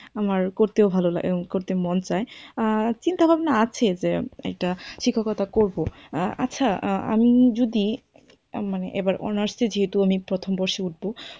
আমার করতেও ভালো লাগে এবং করতেও মন চায়। আর চিন্তাভাবনা আছে সেরম একটা শিক্ষকতা করব। আচ্ছা আমি যদি আর মানে এবার honours য়ে যেহেতু আমি প্রথম বর্ষে উঠব,